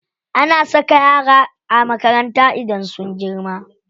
Ana saka yara a makaranta idan sun girma.